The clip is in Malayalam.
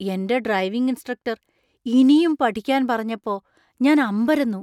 എന്‍റെ ഡ്രൈവിംഗ് ഇൻസ്ട്രക്ടർ ഇനിയും പഠിക്കാന്‍ പറഞ്ഞപ്പോ ഞാൻ അമ്പരന്നു.